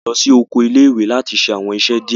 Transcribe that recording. A lọ si oko ile-iwe lati ṣe awọn iṣẹ diẹ